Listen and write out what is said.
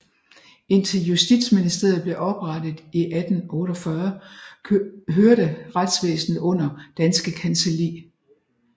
Indtil Justitsministeriet blev oprettet i 1848 hørte retsvæsenet under Danske Kancelli